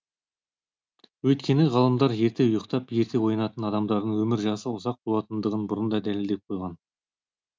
өйткені ғалымдар ерте ұйықтап ерте оянатын адамдардың өмір жасы ұзақ болатындығын бұрын да дәлелдеп қойған